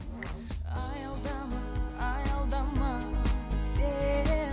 аялдама аялдама сен